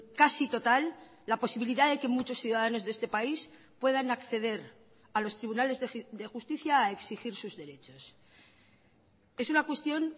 casi total la posibilidad de que muchos ciudadanos de este país puedan acceder a los tribunales de justicia a exigir sus derechos es una cuestión